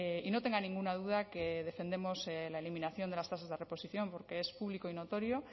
y no tenga ninguna duda que defendemos la eliminación de las tasas de reposición porque es público y notorio